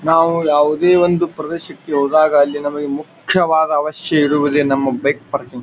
ನಾವು ಯಾವುದೇ ಒಂದು ಪ್ರದೇಶಕ್ಕೆ ಹೋದಾಗ ಅಲ್ಲಿ ನಮಗೆ ಮುಕ್ಕ್ಯವಾದ ಅವಶ್ಯವಿರುವುದು ನಮ್ಮ ಬೈಕ್ ಪಾರ್ಕಿಂಗ್ .